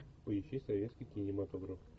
поищи советский кинематограф